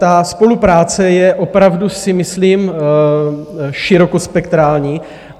Ta spolupráce je, opravdu si myslím, širokospektrální.